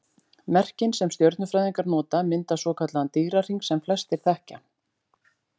Merkin sem stjörnufræðingar nota mynda svokallaðan Dýrahring sem flestir þekkja.